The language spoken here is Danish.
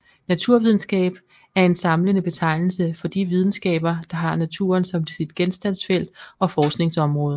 Naturvidenskab er en samlende betegnelse for de videnskaber der har naturen som sit genstandsfelt og forskningsområde